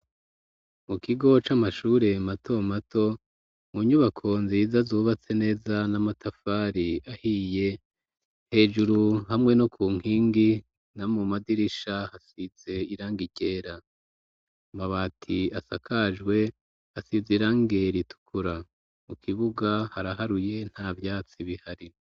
Mu kigo c'amashure mato mato, mu nyubako nziza zubatse neza n'amatafari ahiye, hejuru hamwe no ku nkingi, no mu madirisha hasise irangi ryera, n'amabati asakajwe asize irangi ritukura, mu kibuga haraharuye nta vyatsi bihari.